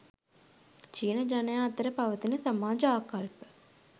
චීන ජනයා අතර පවතින සමාජ ආකල්ප